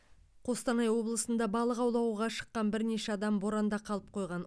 қостанай облысында балық аулауға шыққан бірнеше адам боранда қалып қойған